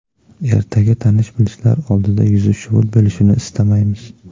Ertaga tanish-bilishlar oldida yuzi shuvut bo‘lishini istamaymiz.